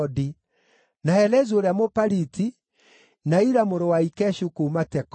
na Helezu ũrĩa Mũpaliti, na Ira mũrũ wa Ikeshu kuuma Tekoa,